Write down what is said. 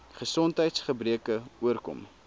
gesondheids gebreke oorkom